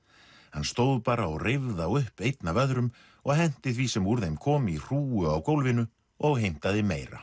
hann stóð bara og reif þá upp einn af öðrum og henti því sem úr þeim kom í hrúgu á gólfinu og heimtaði meira